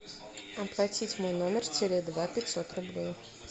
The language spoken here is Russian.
оплатить мой номер теле два пятьсот рублей